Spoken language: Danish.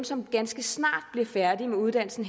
som ganske snart bliver færdig med uddannelsen